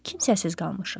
Kimsəsiz qalmışıq.